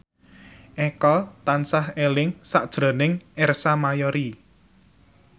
Eko tansah eling sakjroning Ersa Mayori